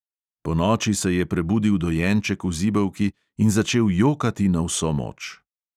Ponoči se je prebudil dojenček v zibelki in začel jokati na vso moč.